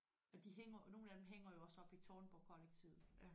Og de hænger og nogle af dem hænger jo også oppe i Tårnborgkollektivet